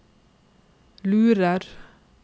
lurer